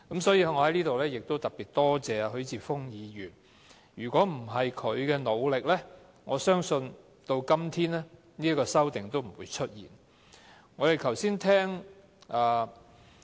所以，我在此特別多謝許智峯議員，如果不是他的努力，我相信直至今天，也不會出現這項修訂。